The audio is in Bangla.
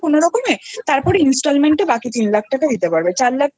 কোনোরকমে তারপর Installment এ বাকি তিন লক্ষ টাকা দিতে